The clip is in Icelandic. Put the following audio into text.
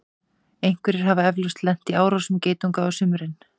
einhverjir hafa eflaust lent í árásum geitunga á sumrin